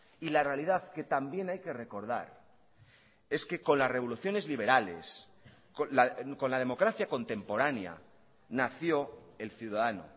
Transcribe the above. y la realidad que también hay que recordar es que con las revoluciones liberales con la democracia contemporánea nació el ciudadano